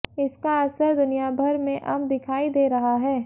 इसका असर दुनियाभर में अब दिखाई दे रहा है